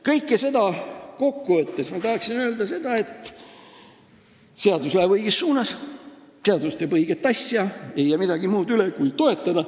Kõike seda kokku võttes ma tahan öelda seda, et seadus läheb õiges suunas, seadus teeb õiget asja, ja ei jää midagi muud üle kui toetada.